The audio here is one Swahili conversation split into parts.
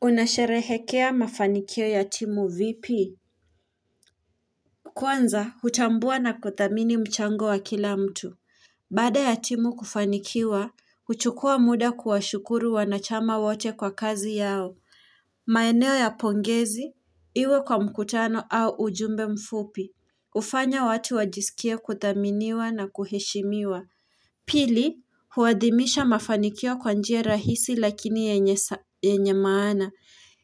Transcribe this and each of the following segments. Unasherehekea mafanikio ya timu vipi? Kwanza hutambua na kudhamini mchango wa kila mtu Baada ya timu kufanikiwa, huchukua muda kuwashukuru wanachama wote kwa kazi yao maeneo ya pongezi, iwe kwa mkutano au ujumbe mfupi hufanya watu wajisikie kuthaminiwa na kuheshimiwa Pili, huadhimisha mafanikio kwa njia rahisi lakini yenye maana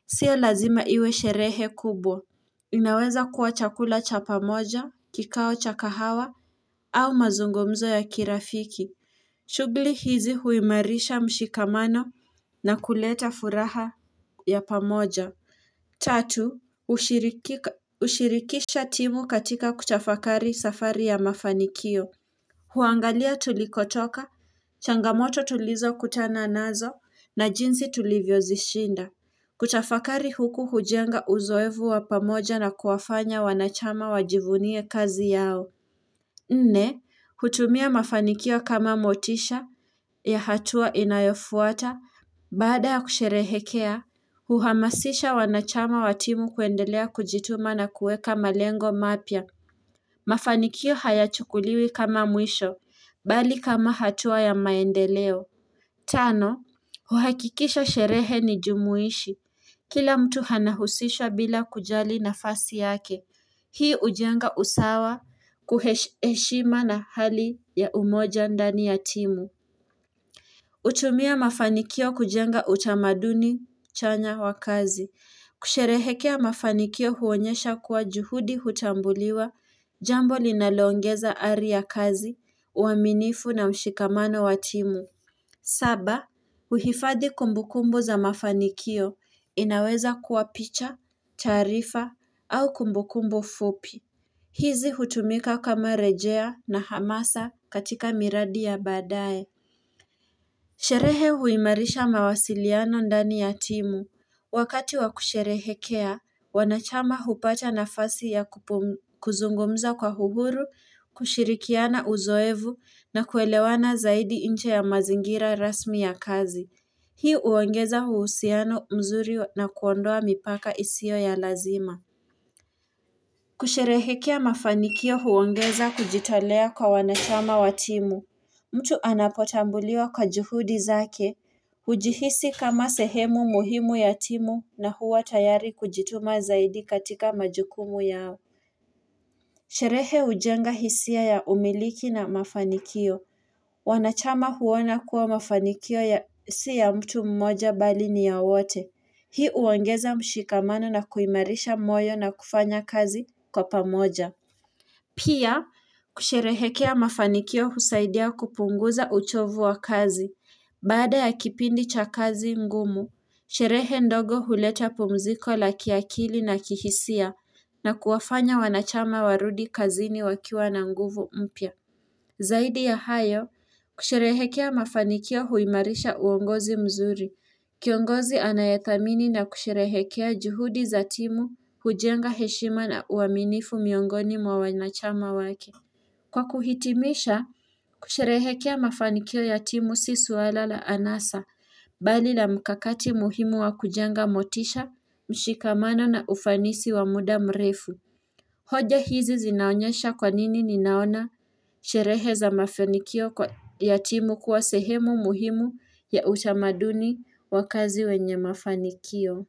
Sio lazima iwe sherehe kubwa. Inaweza kuwa chakula cha pamoja, kikao cha kahawa, au mazungumzo ya kirafiki. Shughuli hizi huimarisha mshikamano na kuleta furaha ya pamoja. Tatu, ushirikisha timu katika kutafakari safari ya mafanikio. Huangalia tulikotoka, changamoto tulizokutana nazo, na jinsi tulivyozishinda. Kutafakari huku hujenga uzoefu wa pamoja na kuwafanya wanachama wajivunie kazi yao Nne, hutumia mafanikio kama motisha ya hatua inayofuata Baada ya kusherehekea, huhamasisha wanachama wa timu kuendelea kujituma na kueka malengo mapya Mafanikio hayachukuliwi kama mwisho, mbali kama hatua ya maendeleo Tano, huhakikisha sherehe ni jumuishi Kila mtu anahusishwa bila kujali nafasi yake, hii hujenga usawa kuhe heshima na hali ya umoja ndani ya timu. Hutumia mafanikio kujenga utamaduni chanya wa kazi. Kusherehekea mafanikio huonyesha kuwa juhudi hutambuliwa jambo linaloongeza ari ya kazi, uaminifu na mshikamano wa timu. Saba, huhifadhi kumbukumbu za mafanikio inaweza kuwa picha, taarifa au kumbukumbu fupi. Hizi hutumika kama rejea na hamasa katika miradi ya baadaye. Sherehe huimarisha mawasiliano ndani ya timu. Wakati wakusherehekea, wanachama hupata nafasi ya kuzungumza kwa uhuru, kushirikiana uzoefu, na kuelewana zaidi nje ya mazingira rasmi ya kazi. Hii huongeza uhusiano mzuri na kuondoa mipaka isiyo ya lazima. Kusherehekea mafanikio huongeza kujitolea kwa wanachama wa timu mtu anapotambuliwa kwa juhudi zake hujihisi kama sehemu muhimu ya timu na huwa tayari kujituma zaidi katika majukumu yao Sherehe hujenga hisia ya umiliki na mafanikio Wanachama huona kuwa mafanikio ya si ya mtu mmoja mbali ni ya wote Hii huongeza mshikamano na kuimarisha moyo na kufanya kazi kwa pamoja Pia, kusherehekea mafanikio husaidia kupunguza uchovu wa kazi, baada ya kipindi cha kazi ngumu, sherehe ndogo huleta pumziko la kiakili na kihisia na kuwafanya wanachama warudi kazini wakiwa na nguvu mpya. Zaidi ya hayo, kusherehekea mafanikio huimarisha uongozi mzuri Kiongozi anayedhamini na kusherehekea juhudi za timu hujenga heshima na uaminifu miongoni mwa wanachama wake Kwa kuhitimisha, kusherehekea mafanikio ya timu si swala la anasa mbali la mkakati muhimu wa kujenga motisha, mshikamano na ufanisi wa muda mrefu hoja hizi zinaonyesha kwa nini ninaona sherehe za mafanikio kwa ya timu kuwa sehemu muhimu ya utamaduni wa kazi wenye mafanikio.